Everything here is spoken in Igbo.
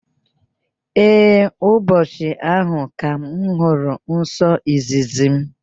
Ee, ụbọchị ahụ ka m hụrụ nsọ izizi m.